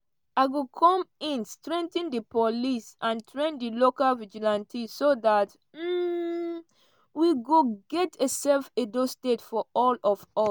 "i go come in strengthen di police and train di local vigilantes so um we go get a safe edo state for all of us.